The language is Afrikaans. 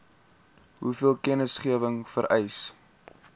hoeveel kennisgewing vereis